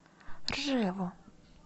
ржеву